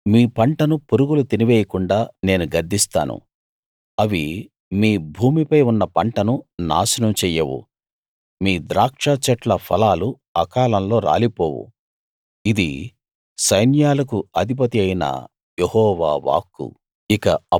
మీ పంటను పురుగులు తినివేయకుండా నేను గద్దిస్తాను అవి మీ భూమిపై ఉన్న పంటను నాశనం చెయ్యవు మీ ద్రాక్షచెట్ల ఫలాలు అకాలంలో రాలిపోవు ఇది సైన్యాలకు అధిపతియైన యెహోవా వాక్కు